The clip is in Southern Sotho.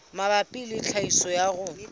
mabapi le tlhahiso ya koro